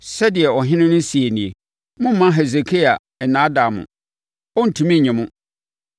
Sɛdeɛ ɔhene no seɛ nie: Mommma Hesekia nnaadaa mo. Ɔrentumi nye mo!